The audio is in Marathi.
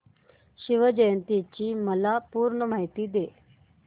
शिवजयंती ची मला पूर्ण माहिती दे